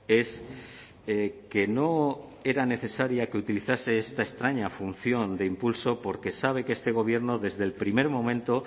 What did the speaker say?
es que no era necesaria que utilizase esta extraña función de impulso porque sabe que este gobierno desde el primer momento